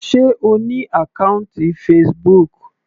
Sé O ní àkọ́ùntì Facebook.